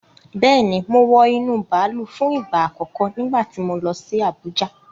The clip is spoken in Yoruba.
Bẹ́ẹ̀ni, mo wọ inú bàálù fún ìgbà àkọ́kọ́ nígbà tí mo lọ sí Abùjá.